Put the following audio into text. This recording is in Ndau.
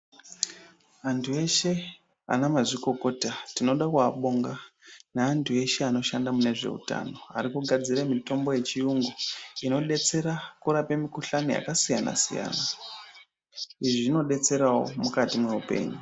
Antu eshe anamazvikokota tinoda kuabonga neantu eshe anoshanda munezveutano arikugadzire mutombo yechiyungu inodetsera kurape mukuhlani yakasiyana siyana izvi zvinodetserawo mukati meupenyu.